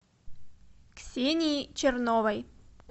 ксении черновой